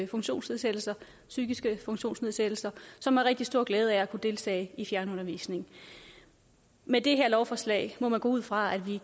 funktionsnedsættelse psykisk funktionsnedsættelse som har rigtig stor glæde af at kunne deltage i fjernundervisning med det her lovforslag må man gå ud fra at vi